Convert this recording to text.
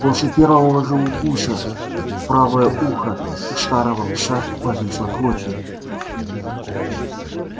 после первого же укуса правое ухо у старого пса повисло клочьями